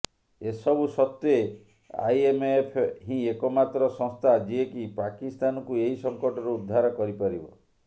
ଏ ସବୁ ସତ୍ତ୍ୱେ ଆଇଏମଏଫ ହିଁ ଏକମାତ୍ର ସଂସ୍ଥା ଯିଏକି ପାକିସ୍ତାନକୁ ଏହି ସଂକଟରୁ ଉଦ୍ଧାର କରିପାରିବ